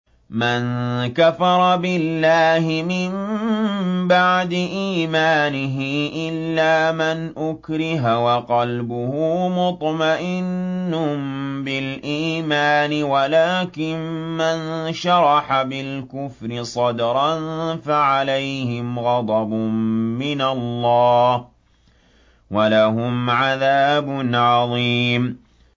مَن كَفَرَ بِاللَّهِ مِن بَعْدِ إِيمَانِهِ إِلَّا مَنْ أُكْرِهَ وَقَلْبُهُ مُطْمَئِنٌّ بِالْإِيمَانِ وَلَٰكِن مَّن شَرَحَ بِالْكُفْرِ صَدْرًا فَعَلَيْهِمْ غَضَبٌ مِّنَ اللَّهِ وَلَهُمْ عَذَابٌ عَظِيمٌ